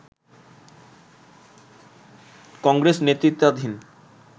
কংগ্রেস নেতৃত্বাধীন